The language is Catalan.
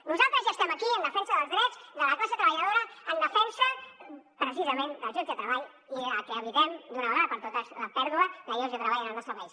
nosaltres ja estem aquí en defensa dels drets de la classe treballadora en defensa precisament dels llocs de treball i de que evitem d’una vegada per totes la pèrdua de llocs de treball en el nostre país